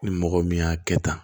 Ni mɔgɔ min y'a kɛ tan